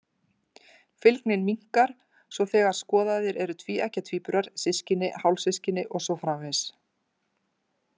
Fylgnin minnkar svo þegar skoðaðir eru tvíeggja tvíburar, systkini, hálfsystkini og svo framvegis.